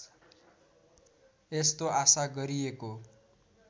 यस्तो आशा गरिएको